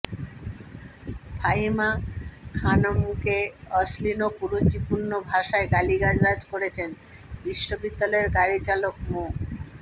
ফাহিমা খানমকে অশ্লীল ও কুরুচিপূর্ণ ভাষায় গালিগালাজ করেছেন বিশ্ববিদ্যালয়ের গাড়ি চালক মো